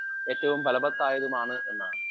speaker 1 ഏറ്റവും ഫലവത്തായതുമാണ് എന്നാണ്